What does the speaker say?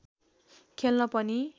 खेल्न पनि